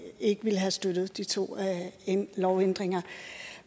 ikke ville have støttet de to lovændringer